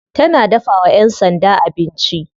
Tana dafawa yan sanda abinci.